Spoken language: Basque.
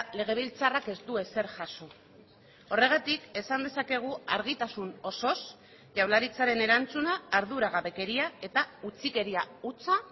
legebiltzarrak ez du ezer jaso horregatik esan dezakegu argitasun osoz jaurlaritzaren erantzuna arduragabekeria eta utzikeria hutsa